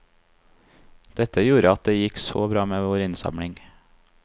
Dette gjorde at det gikk så bra med vår innsamling.